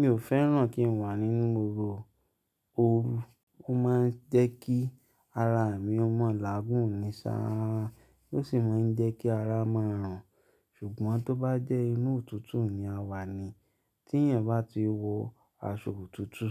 Mi ò fẹ́ràn kí n wà nínú ooru, ó máa ń jẹ́ kí ara mi ó mọ̀lágún ní sáa, ó sì máa ń jẹ́ kí ara máa rùn. Ṣùgbọ́n tó bá jẹ́ inú òtútù ni a wà ni tí ẹ̀yan bá ti wọ aṣọ òtútù,